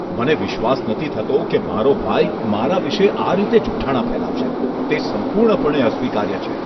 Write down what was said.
મને વિશ્વાસ નથી થતો કે મારો ભાઈ, મારા વિશે આ રીતે જુઠાણા ફેલાવશે. તે સંપૂર્ણપણે અસ્વીકાર્ય છે.